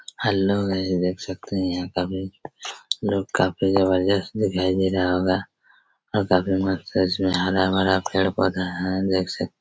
hello guys देख सकते हैं यहां काफी लोग काफी जबरजस्त दिखाई दे रहा होगा और काफी मस्त हैं इसमें हरा-भरा पेड़-पौधा हैं देख सकते--